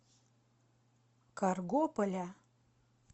каргополя